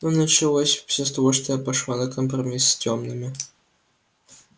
но началось всё с того что я пошла на компромисс с тёмными